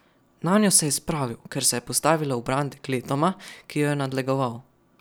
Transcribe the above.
Nanjo se je spravil, ker se je postavila v bran dekletoma, ki ju je nadlegoval.